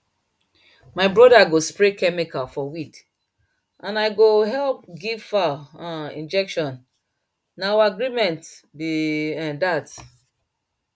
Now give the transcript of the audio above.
my brother go spray chemical for weed and i go help give fowl um injection na our agreement be um that